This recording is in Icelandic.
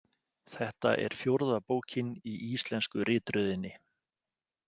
Þetta er fjórða bókin í íslensku ritröðinni.